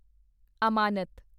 ਅਮਾਨਤ